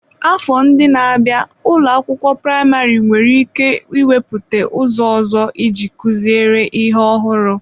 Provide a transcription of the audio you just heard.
Afọ ndị na-abịa n'ụlọ akwụkwọ praịmarị nwere ike iwepụta ụzọ ọzọ iji kụziere ihe ọhụrụ.